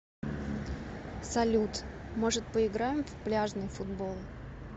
салют может поиграем в пляжный футбол